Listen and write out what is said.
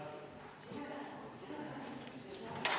Istungi lõpp kell 18.57.